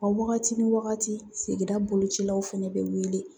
wagati ni wagati sigida bolocilaw fɛnɛ bɛ wele